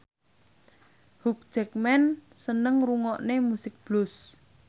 Hugh Jackman seneng ngrungokne musik blues